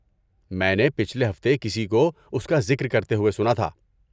میں نے پچھلے ہفتے کسی کو اس کا ذکر کرتے ہوئے سنا تھا۔